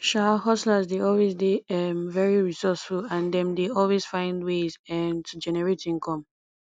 um hustlers dey always dey um very resourceful and dem dey always find ways um to generate income